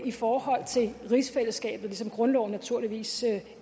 i forhold til rigsfællesskabet ligesom grundloven naturligvis